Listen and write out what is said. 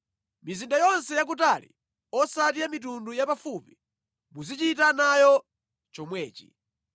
Mizinda yonse yakutali osati ya mitundu yapafupi, muzichita nayo chomwechi.